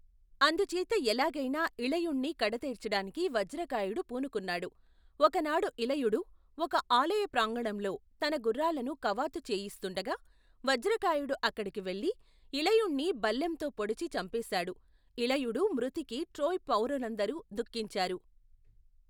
అందుచేత ఎలాగైనా ఇలయుణ్ణి కడతేర్చటానికి వజ్రకాయుడు పూనుకున్నాడు ఒకనాడు ఇలయుడు ఒక ఆలయప్రాంగణంలో తన గుఱ్ఱాలను కవాతు చేయిస్తుండగా వజ్రకాయుడు అక్కడికి వెళ్లి ఇలయుణ్ణి బల్లెంతో పొడిచి చంపేశాడు ఇలయుడు, మృతికి ట్రోయ్ పౌరులందరూ ధుఃఖించారు.